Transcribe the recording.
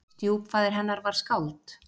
Stjúpfaðir hennar var skáld.